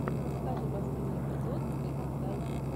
покажи последний эпизод ивангай